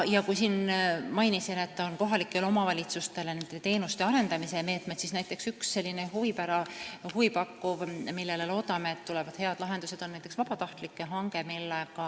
Kui mainisin enne, et kohalikele omavalitsustele on teenuste arendamise meetmed, siis üks selline huvipakkuv, millele me loodame, et tulevad head lahendused, on näiteks vabatahtlike hange.